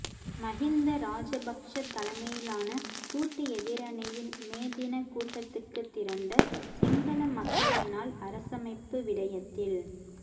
மஹிந்த ராஜபக்ச தலைமையிலான கூட்டு எதிரணியின் மே தினக் கூட்டத்துக்குத் திரண்ட சிங்கள மக்களினால் அரசமைப்பு விடயத்தில்